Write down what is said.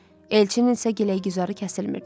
Elçinin isə giley-güzarı kəsilmirdi.